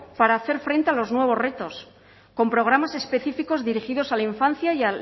para hacer frente a los nuevos retos con programas específicos dirigidos a la infancia y